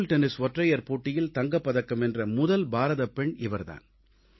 table tennis ஒற்றையர் போட்டியில் தங்கப் பதக்கம் வென்ற முதல் பாரதப் பெண் இவர் தான்